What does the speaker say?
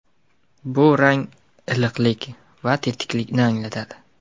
bu rang iliqlik va tetiklikni anglatadi.